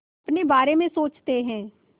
अपने बारे में सोचते हैं